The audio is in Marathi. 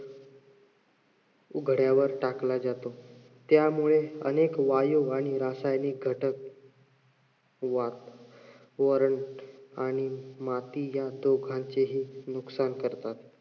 उघड्यावर टाकला जातो. त्यामुळे अनेक वायू आणि रासायनिक घटक वरण आणि माती या दोघांचेही नुकसान करतात.